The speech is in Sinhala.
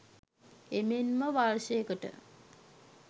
එමෙන්ම වර්ෂයකට